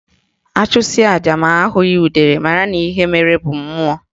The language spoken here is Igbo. Achụsịa aja ma ahụghị udele mara na ihe mere be mmụọ